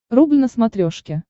рубль на смотрешке